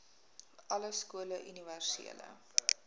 alle skole universele